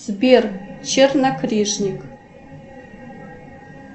сбер чернокнижник